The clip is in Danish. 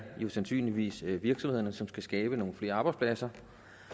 jo sandsynligvis er virksomhederne som skal skabe nogle flere arbejdspladser